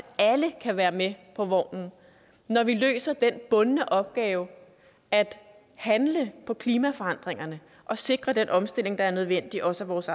alle kan være med på vognen når vi løser den bundne opgave at handle på klimaforandringerne og sikre den omstilling der er nødvendig også af vores